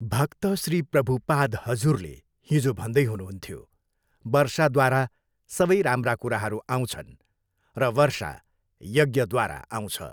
भक्त श्री प्रभुपाद हजुरले हिजो भन्दै हुनुहुन्थ्यो, वर्षाद्वारा सबै राम्रा कुराहरू आउँछन् र वर्षा यज्ञद्वारा आउँछ।